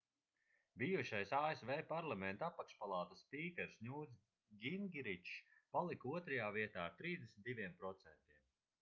bijušais asv parlamenta apakšpalātas spīkers ņūts gingričs palika otrajā vietā ar 32%